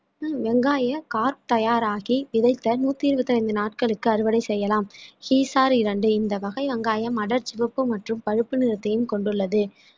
வெங்காய கார் தயாராகி விதைத்த நூத்தி இருபத்தி ஐந்து நாட்களுக்கு அறுவடை செய்யலாம் ஹீசார் இரண்டு இந்த வகை வெங்காயம் அடர்சிவப்பு மற்றும் பழுப்பு நிறத்தையும் கொண்டுள்ளது